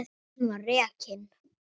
Hann var rekinn.